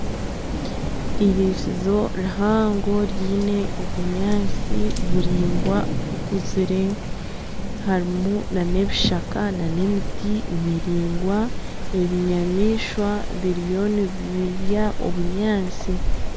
Eirisizo rihango riine obunyatsi buraingwa bukuzire, harimu nana ebishaka nana emiti miraingwa ebinyamaishwa biriyo nibirya obunyaatsi.